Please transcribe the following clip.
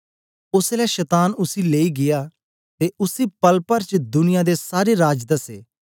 ओसलै शतान उसी लेई गीया ते उसी पल पर च दुनिया दे सारे राज दसे